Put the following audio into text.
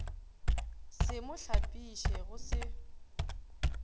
se mo hlapiše go se